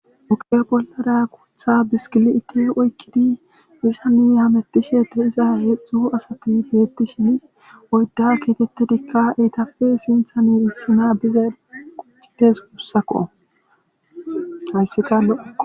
Ogiya bollara guuththa bishkkilitiya oyqqidi bizanne hamutishe diza daro asati ikka eetappe sinththan issi na dizayssi dees gussakko hayssikka lo'okko.